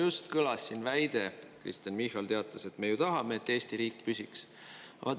Just kõlas siin väide, Kristen Michal teatas, et me ju tahame, et Eesti riik püsiks.